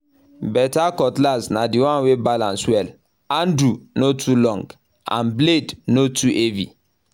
better cutlass na the one wey balance well—handle no too long and blade no too heavy